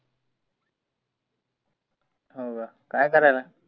हाव का. काय करायला?